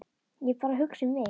Ég er bara að hugsa mig um.